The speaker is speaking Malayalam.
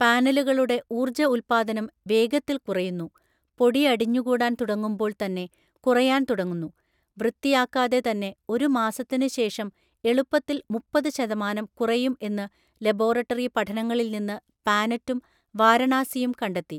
പാനലുകളുടെ ഊർജ്ജ ഉൽപ്പാദനം വേഗത്തിൽ കുറയുന്നു, പൊടി അടിഞ്ഞുകൂടാൻ തുടങ്ങുമ്പോൾ തന്നെ കുറയാൻ തുടങ്ങുന്നു, വൃത്തിയാക്കാതെ തന്നെ ഒരു മാസത്തിന് ശേഷം എളുപ്പത്തിൽ മുപ്പതു ശതമാനം കുറയും എന്ന് ലബോറട്ടറി പഠനങ്ങളിൽ നിന്ന് പാനറ്റും വാരണാസിയും കണ്ടെത്തി.